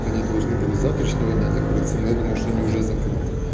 они должны были с завтрашнего дня закрыться но я думаю что они уже закрыты